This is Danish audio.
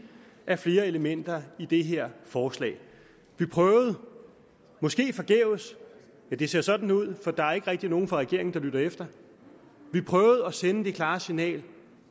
af flere elementer i det her forslag vi prøvede måske forgæves ja det ser sådan ud for der er ikke rigtig nogen fra regeringen der lytter at sende det klare signal at